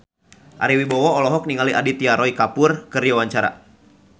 Ari Wibowo olohok ningali Aditya Roy Kapoor keur diwawancara